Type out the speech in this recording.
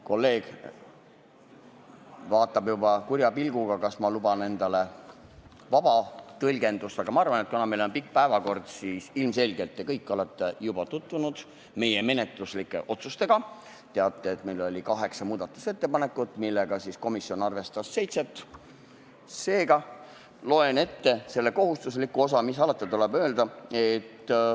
Kolleeg vaatab juba kurja pilguga, kas ma luban endale vaba tõlgendust, aga ma arvan, et kuna meie tänane päevakord on pikk ning ilmselgelt olete te kõik meie menetluslike otsustega juba tutvunud ja teate, et meil oli kaheksa muudatusettepanekut, millest komisjon arvestas seitset, siis loen ette ainult selle kohustusliku osa, mis alati tuleb ette lugeda.